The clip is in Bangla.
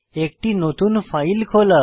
একটি নতুন ফাইল খোলা